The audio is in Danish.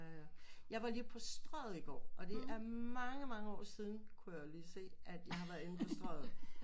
Ja ja jeg var lige på Strøget i går og det er mange mange år siden kunne jeg lige se at jeg har været inde på Strøget